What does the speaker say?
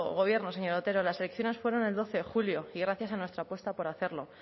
gobiernos señor otero las elecciones fueron el doce de julio y gracias a nuestra apuesta por hacerlo